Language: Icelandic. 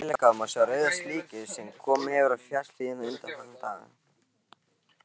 Ef vel er gáð, má sjá rauða slikju sem komið hefur á fjallshlíðarnar undanfarna daga.